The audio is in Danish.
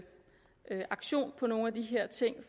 tage aktion på nogle af de her ting